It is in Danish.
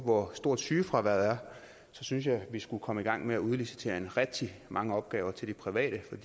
hvor stort sygefraværet er synes jeg vi skulle komme i gang med at udlicitere rigtig mange opgaver til de private